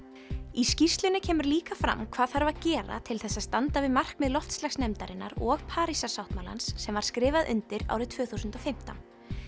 í skýrslunni kemur líka fram hvað þarf að gera til þess að standa við markmið og Parísarsáttmálans sem var skrifað undir árið tvö þúsund og fimmtán